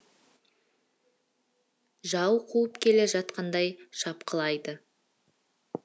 жау қуып келе жатқандай шапқылайды